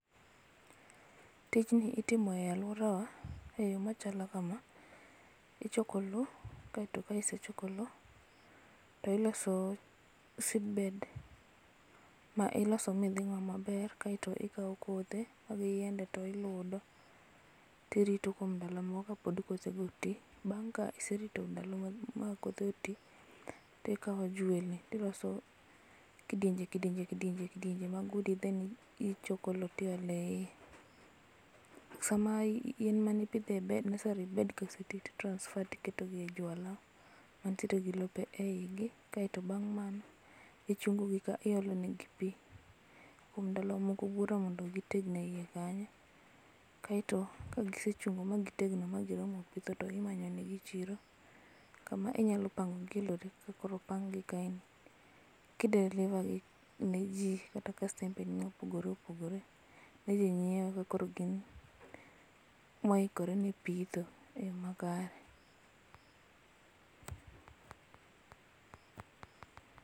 Tijni itimo e aluora wa e yo machalo kama. Ichoko loo kaito ka isechoko loo to iloso seedbed ma iloso midhing'o maber kaito ikao kothe mag yiende to iludo tirito kuom ndalo moko kod kospod kothe go tii. Bang' ka iserito ndalo ma kothego otii tikao jwelni tiloso kidienje kidienje kidienje kidienj mag udi then ichoko loo tiole iye. Sama in mani pidhe bed, nursery bed osetii to i transfer tiketo e jwala mantie gi lope eigi kaito bang' mano ichungo gi ka, iolo negi pii kuom ndalo moko buore mondo gitegno eiye kanyo. Kaito ka gisechungo ma gitegno ma giro mo pidho to imanyo negi chiro kama inyalo pango gi e lori kaka koro opang gi kae ni ki deliver gi ne jii kata kastembe ni mopogore opogore midhi nyiew ka koro gin moikore ne pitho e yoo makare